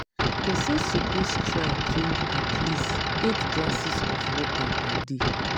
pesin suppose try drink at least eight glasses of water per day.